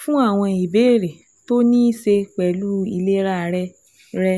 fún àwọn ìbéèrè tó ní í ṣe pẹ̀lú ìlera rẹ rẹ